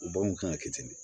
U b'anw kan ka kɛ ten de